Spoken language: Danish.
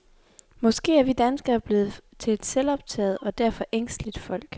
Måske er vi danskere blevet til et selvoptaget og derfor ængsteligt folk.